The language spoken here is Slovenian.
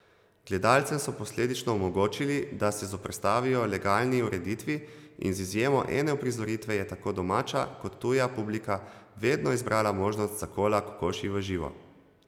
Gledalcem so posledično omogočili, da se zoperstavijo legalni ureditvi, in z izjemo ene uprizoritve je tako domača kot tuja publika vedno izbrala možnost zakola kokoši v živo.